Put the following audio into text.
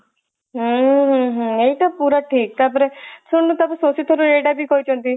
ହୁଁ ହୁଁ ଏଇଟା ପୁରା ଠିକ ତା ପରେ ଶୁଣୁନୁ ତାଙ୍କୁ ଶକ୍ତିସ୍ଵରୂପ ଏଇଟା ବି କହିଛନ୍ତି